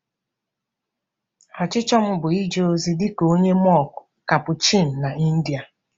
Ọchịchọ m bụ ije ozi dị ka onye mọnk Capuchin n’India.